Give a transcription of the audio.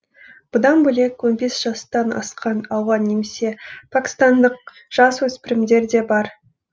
бұдан бөлек он бес жастан асқан ауған немесе пәкістандық жасөспірімдер де бар